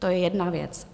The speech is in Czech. To je jedna věc.